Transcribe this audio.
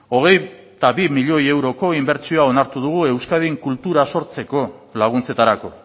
hogeita bi milioi euroko inbertsioa onartu dugu euskadin kultura sortzeko laguntzetarako